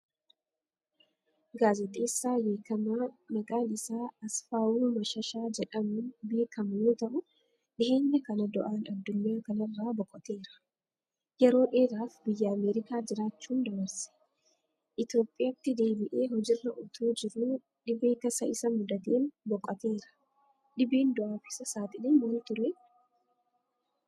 Gaazaxeessaa beekamaa maqaan isaa Asfawu Mashashaa jedhamuun beekamu yoo ta'u dhiheenya kana du'aan addunyaa kanarraa boqoteera. Yeroo dheeraaf biyya Ameerikaa jiraachuun dabarse. Itoophiyaatti deebi'ee hojiirra utuu jiruu dhibee tasa Isa mudateen boqoteera. Dhibeen du'aaf Isa saaxile maal turee?